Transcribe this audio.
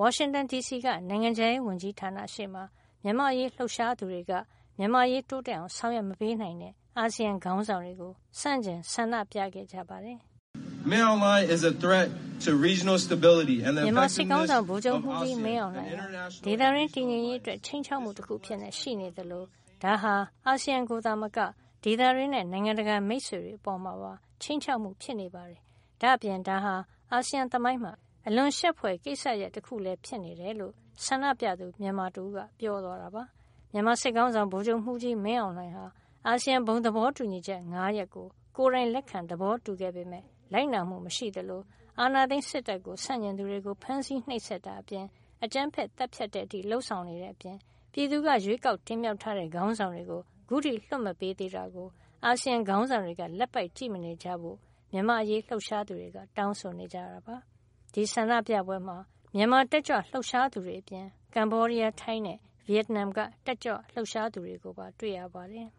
ဝါရှင်တန်ဒီစီက နိုင်ငံခြားရေးဝန်ကြီးဌာနရှေ့မှာ မြန်မာ့အရေးလှုပ်ရှားသူတွေက မြန်မာ့အရေး တိုးတက်အောင် ဆောင်ရွက်မပေးနိုင်တဲ့ အာဆီယံ ခေါင်းဆောင်တွေကို ဆန့်ကျင်ဆန္ဒပြခဲ့ကြပါတယ်။ " မြန်မာစစ်ခေါင်းဆောင် ဗိုလ်ချုပ်မှူးကြီး မင်းအောင်လှိုင်ဟာ ဒေသတွင်း တည်ငြိမ်ရေးအတွက် ခြိမ်းခြောက်မှုတခု အဖြစ်ရှိနေသလို၊ ဒါဟာ အာဆီယံကိုသာမက ဒေသတွင်းနဲ့ နိုင်ငံတကာ မိတ်ဆွေတွေ အပေါ်မှာပါ ခြိမ်းခြောက်မှုဖြစ်နေပါတယ်။ ဒါ့အပြင် ဒါဟာ အာဆီယံ သမိုင်းမှာ အလွန်ရှက်ဖွယ် ကိစ္စရပ် တခုလည်း ဖြစ်နေတယ်လို့ ဆန္ဒပြသူ မြန်မာတဦးက ပြောသွားတာပါ" မြန်မာစစ်ခေါင်းဆောင် ဗိုလ်ချုပ်မှုးကြီး မင်းအောင်လှိုင်ဟာ အာဆီယံ ဘုံသဘောတူညီချက် ၅ ရပ်ကို ကိုယ်တိုင်လက်ခံ သဘောတူခဲ့ပေမယ့် လိုက်နာမှု မရှိသလို အာဏာသိမ်းစစ်တပ် ဆန့်ကျင်သူတွေကို ဖမ်းဆီးနှိပ်စက်တာအပြင် အကြမ်းဖက် သတ်ဖြတ်တဲ့အထိ လုပ်ဆောင်နေတဲ့ အပြင် ပြည်သူက ရွေးကောက်တင်မြှောက်ထားတဲ့ ခေါင်းဆောင်တွေကို အခုထိလွှတ်မပေးသေးတာကို အာဆီယံ ခေါင်းဆောင်တွေက လက်ပိုက်ကြည့်မနေကြဖို့ မြန်မာ့အရေး လှုပ်ရှားသူတွေက တောင်းဆိုနေကြတာပါ။ ဒီဆန္ဒပြပွဲမှာ မြန်မာတက်ကြွလှုပ်ရှားသူတွေ အပြင် ကမ္ဘောဒီးယား၊ ထိုင်းနဲ့ ဗီယက်နမ်က တက်ကြွလှုပ်ရှားသူတွေကိုပါ တွေ့ရပါတယ်